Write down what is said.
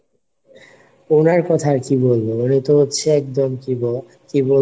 ওনার কথায় কি বলবো? উনি তো হচ্ছে একদম কি বলে কি বলবো;